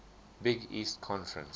big east conference